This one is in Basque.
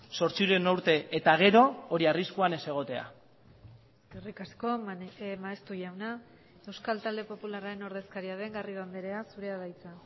zortziehun urte eta gero hori arriskuan ez egotea eskerrik asko maeztu jauna euskal talde popularraren ordezkaria den garrido andrea zurea da hitza